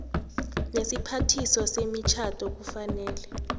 nesiphathiswa semitjhado kufanele